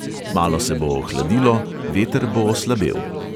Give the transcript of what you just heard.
Malo se bo ohladilo, veter bo oslabel.